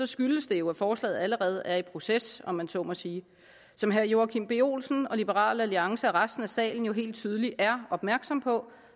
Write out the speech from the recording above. skyldes det jo at forslaget allerede er i proces om man så må sige som herre joachim b olsen og liberal alliance og resten af salen jo helt tydeligt er opmærksom på